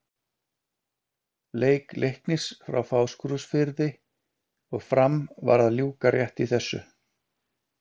Leik Leiknis frá Fáskrúðsfirði og Fram var að ljúka rétt í þessu.